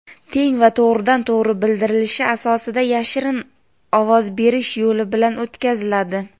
teng va to‘g‘ridan-to‘g‘ri bildirishi asosida yashirin ovoz berish yo‘li bilan o‘tkaziladi.